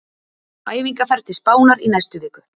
Æfingaferð til Spánar í næstu viku.